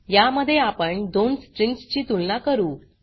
या मध्ये आपण दोन स्ट्रिंग्स ची तुलना करू